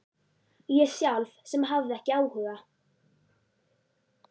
Ég sjálf sem hafði ekki áhuga.